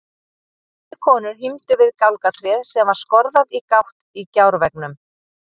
Tvær konur hímdu við gálgatréð sem var skorðað í gátt í gjárveggnum.